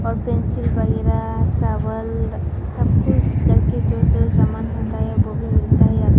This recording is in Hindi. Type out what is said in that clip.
और पेंसिल वगैरह शावल सब कुछ कर के जो जो सामान होता है वो भी मिलता है यहां पे--